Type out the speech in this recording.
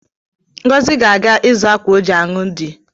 Ngozi ga-aga izu akwa o ji anụ di